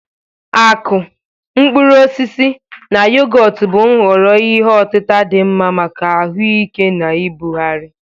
Akụ, mkpụrụ osisi, na yogọt bụ nhọrọ ihe otita dị mma maka ahuike na ibugharị.